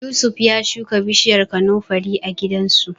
Yusuf ya shuka bishiyar kanunfari a gidansu.